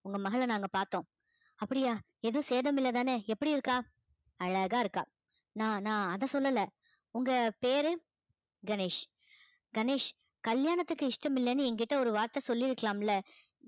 உங்க மகளை நாங்க பார்த்தோம் அப்படியா எதுவும் சேதம் இல்லைதானே எப்படி இருக்கா அழகா இருக்கா நா~ நான் ஆனால் அதை சொல்லலை உங்க பேரு கணேஷ் கணேஷ் கல்யாணத்துக்கு இஷ்டம் இல்லைன்னு என்கிட்ட ஒரு வார்த்தை சொல்லி இருக்கலாம் இல்லை